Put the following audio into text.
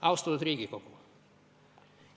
Austatud Riigikogu!